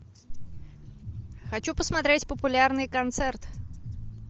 хочу посмотреть популярный концерт